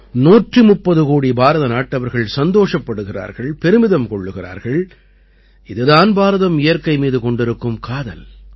130 கோடி பாரதநாட்டவர்கள் சந்தோஷப்படுகிறார்கள் பெருமிதம் கொள்கிறார்கள் இது தான் பாரதம் இயற்கை மீது கொண்டிருக்கும் காதல்